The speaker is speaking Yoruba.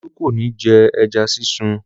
Olú kò ní jẹ ẹja sísun.